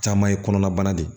Caman ye kɔnɔna bana de ye